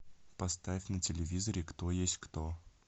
поставь на телевизоре кто есть кто